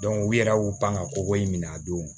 u yɛrɛ y'u pan ka koko in minɛ a don